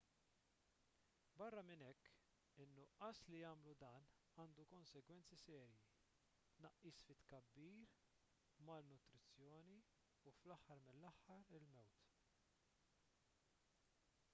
barra minn hekk in-nuqqas li jagħmlu dan għandu konsegwenzi serji tnaqqis fit-tkabbir malnutrizzjoni u fl-aħħar mill-aħħar il-mewt